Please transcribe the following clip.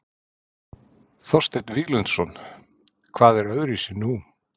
Þorsteinn Víglundsson: Hvað er öðruvísi nú?